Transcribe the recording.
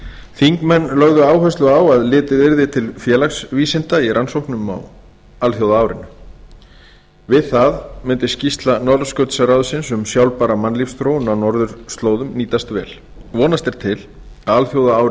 þingmenn lögðu áherslu á að litið yrði til félagsvísinda í rannsóknum á alþjóðaárinu við það mundi skýrsla norðurskautsráðsins um sjálfbæra mannlífsþróun á norðurslóðum nýtast vel vonast er til að